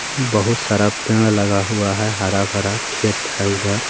बहुत सारा पेड़ लगा हुआ है हरा भरा खेत है उधर-